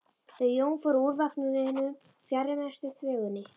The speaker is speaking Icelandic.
Þau Jón fóru úr vagninum fjarri mestu þvögunni.